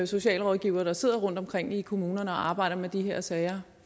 socialrådgivere der sidder rundtomkring i kommunerne og arbejder med de her sager